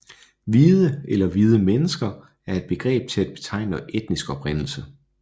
Hvide eller hvide mennesker er et begreb til at betegne etnisk oprindelse